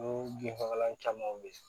Ko binfagalan caman be yen